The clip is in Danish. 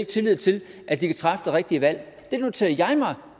tillid til at de kan træffe det rigtige valg det noterer jeg mig